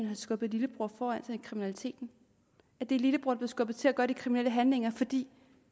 har skubbet lillebror foran sig i kriminaliteten at det er lillebror der er skubbet til at gøre de kriminelle handlinger fordi